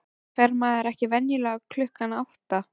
Fer maður ekki venjulega klukkan átta?